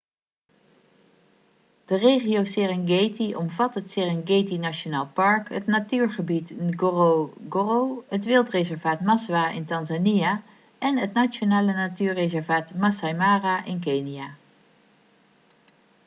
de regio serengeti omvat het serengeti nationaal park het natuurgebied ngorongoro het wildreservaat maswa in tanzania en het nationale natuurreservaat masai mara in kenia